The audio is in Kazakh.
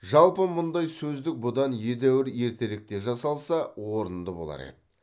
жалпы мұндай сөздік бұдан едәуір ертеректе жасалса орынды болар еді